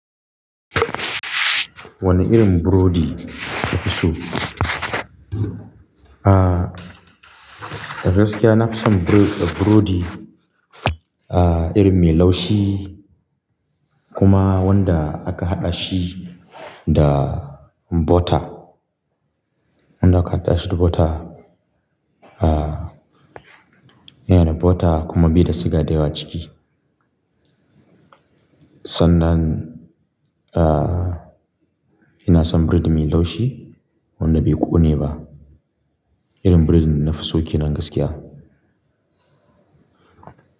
Wane irin burodi ka fi so? Aaa, da gaskiya na fi son bure-- burodi aa irin mai laushi kuma wanda aka haɗa shi da butter. Wanda aka haɗa shi da butter, aa yana da butter kuma bi da siga da yawa ciki. Sannan, aa, ina son bredi mai laushi wanda bai ƙone ba. Irin bredin da nafi so ke nan gaskiya.